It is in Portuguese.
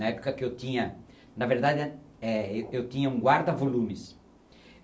Na época que eu tinha... Na verdade, é eu tinha um guarda-volumes.